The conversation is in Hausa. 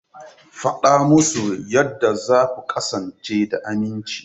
Faɗa musu yadda za ku kasance da aminci.